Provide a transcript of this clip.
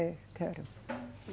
É, quero.